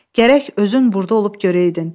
Gərək özün burda olub görəydin.